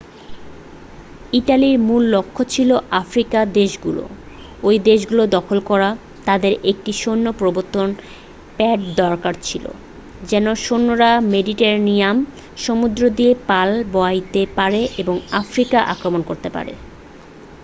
ইটালির মূল লক্ষ্য ছিল আফ্রিকার দেশগুলো ওই দেশগুলো দখল করা তাদের একটি সৈন্য প্রবর্তন প্যাড দরকার ছিল যেন সৈন্যরা মেডিটেরানিয়ান সমুদ্র দিয়ে পাল বাইতে পারে এবং আফ্রিকায় আক্রমণ করতে পারে